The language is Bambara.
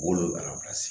Wolonwula